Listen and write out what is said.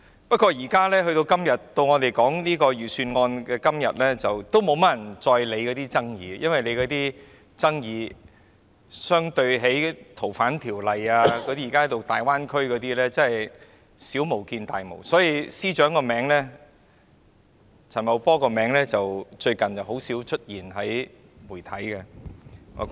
不過，在我們討論預算案的今天，已沒有多少人理會那些爭議，因為那些爭議相對於《逃犯條例》和大灣區等問題，確實是小巫見大巫，所以陳茂波司長的名字最近已很少在媒體出現。